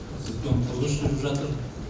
үлкен құрылыс жүріп жатыр